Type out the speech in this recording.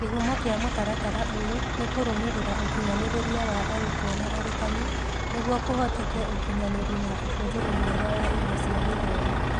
Kĩhumo kĩa mũtaratara ũyũ nĩ kũrũmĩrĩra ũkinyanĩrĩria wa arutwo na arutani nĩguo kũhoteke ũkinyanĩri na ũhũthĩri mwega wa indo cia gĩthomo.